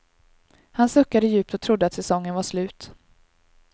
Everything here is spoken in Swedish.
Han suckade djupt och trodde att säsongen var slut.